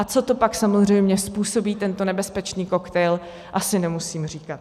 A co to pak samozřejmě způsobí, tento nebezpečný koktejl, asi nemusím říkat.